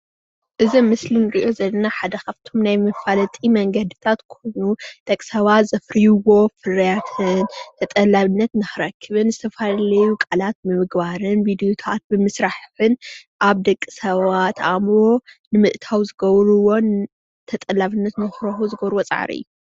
እዚ ኣብ ምስሊ እንሪኦ ዘለና ሓደ ካፍቲ ናይ መፋለጢ መንገድታት ኾይኑ ደቅሰባት ዘፍርዎ ፍርያት ተጠላብነት ንኽረክብን ዝተፈላለዩ ቃለት ንምርክብን ቪድዮታት ብምእታውን ተጠላብነት ንምርካብ ዝገብርዎ እዩ።